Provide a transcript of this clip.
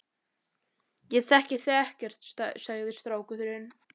Ég þekki þig ekkert, sagði strákurinn.